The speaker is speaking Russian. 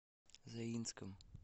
заинском